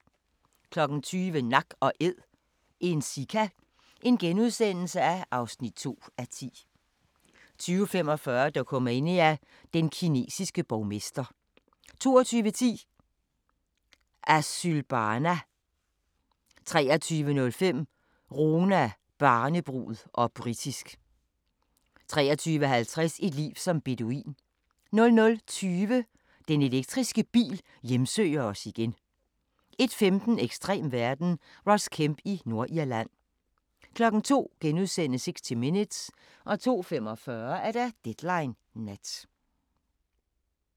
20:00: Nak & Æd – en sika (2:10)* 20:45: Dokumania: Den kinesiske borgmester 22:10: Asylbarna 23:05: Roma, barnebrud - og britisk 23:50: Et liv som beduin 00:20: Den elektriske bil hjemsøger os igen 01:15: Ekstrem verden – Ross Kemp i Nordirland 02:00: 60 Minutes * 02:45: Deadline Nat